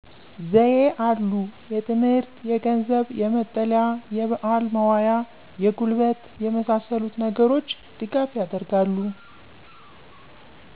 ዘዬ አሉ የትምህርት፣ የገንዘብ፣ የመጠለያ፣ የበአል መዋያ፣ የጉልበት የመሣሠሉት ነገሮች ድጋፍ ያደርጋሉ።